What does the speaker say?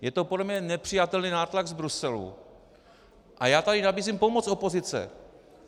Je to podle mě nepřijatelný nátlak z Bruselu a já tady nabízím pomoc opozice.